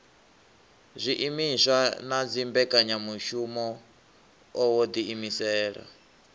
zwiimiswa na dzimbekanyamushumo wo ḓiimisela